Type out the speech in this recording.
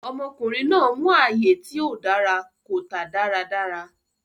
Ọmọkùnrin náà mú ààyè tí ò dára, kò tà dáradára.